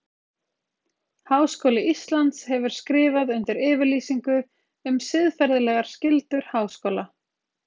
Háskóli Íslands hefur skrifað undir yfirlýsingu um siðferðilegar skyldur háskóla.